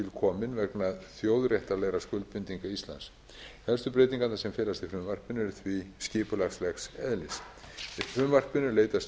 tilkomin vegna þjóðréttarlegra skuldbindinga íslands helstu breytingarnar sem felast í frumvarpinu eru því skipulagslegs eðlis í frumvarpinu er leitast